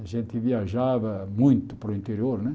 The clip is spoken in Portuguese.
A gente viajava muito para o interior né.